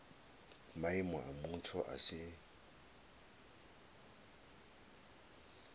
maimo a mutsho a si